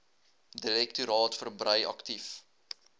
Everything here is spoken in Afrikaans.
direktoraat verbrei aktief